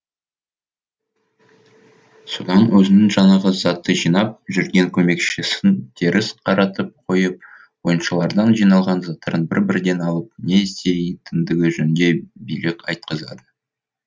содан өзінің жаңағы затты жинап жүрген көмекшісін теріс қаратып қойып ойыншылардан жиналған заттарын бір бірден алып не істейтіндігі жөнінде билік айтқызады